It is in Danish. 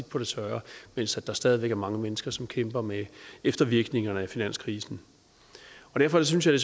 på det tørre mens der stadig væk er mange mennesker som kæmper med eftervirkningerne af finanskrisen derfor synes jeg